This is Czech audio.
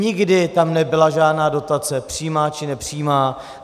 Nikdy tam nebyla žádná dotace, přímá či nepřímá.